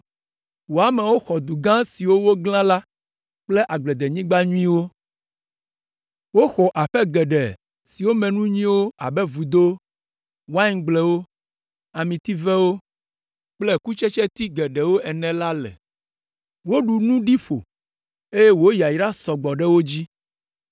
Wò amewo xɔ du gã siwo woglã la kple agbledenyigba nyuiwo. Woxɔ aƒe geɖe siwo me nu nyuiwo abe vudo, waingblewo, amitivewo kple kutsetseti geɖewo ene la le. Ale woɖu nu ɖi ƒo, eye wò yayrawo sɔ gbɔ ɖe wo dzi.